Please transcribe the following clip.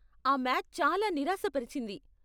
ఆ మ్యాచ్ చాలా నిరాశపరిచింది.